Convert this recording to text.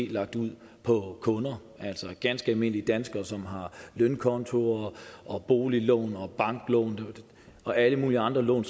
lagt ud på kunderne altså ganske almindelige danskere som har lønkontoer og boliglån og banklån og alle mulige andre lån